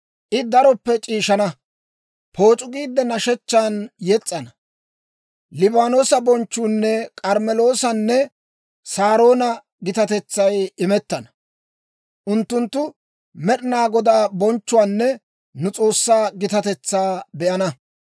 I daroppe c'iishshaana; pooc'u giide nashshechchan yes's'ana. Liibaanoosa bonchchuunne K'armmeloosanne Saaroona gitatetsay imettana; unttunttu Med'inaa Godaa bonchchuwaanne nu S'oossaa gitatetsaa be'ana.